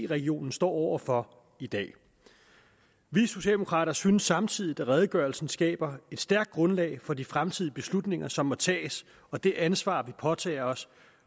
regionen står over for i dag vi socialdemokrater synes samtidig at redegørelsen skaber et stærkt grundlag for de fremtidige beslutninger som må tages og det ansvar vi påtager os